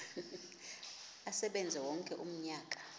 asebenze wonke umnyaka